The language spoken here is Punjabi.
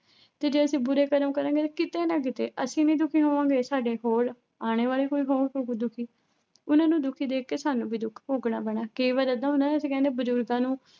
ਤੇ ਜੇ ਅਸੀਂ ਬੁਰੇ ਕਰਮ ਕਰਾਂਗੇ ਤਾਂ ਕਿਤੇ ਨਾ ਕਿਤੇ ਅਸੀਂ ਵੀ ਦੁਖੀ ਹੋਵਾਂਗੇ, ਸਾਡੇ ਹੋਰ ਆਉਣੇ ਵਾਲੇ ਕੋਈ ਦੁਖੀ ਉਹਨਾਂ ਨੂੰ ਦੁਖੀ ਦੇਖ ਕੇ ਸਾਨੂੰ ਵੀ ਦੁਖ ਭੋਗਣਾ ਪੈਣਾ, ਕਈ ਵਾਰੀ ਏਦਾਂ ਹੁੰਦਾ ਨਾ ਅਸੀਂ ਕਹਿੰਦੇ ਬਜ਼ੁਰਗਾਂ ਨੂੰ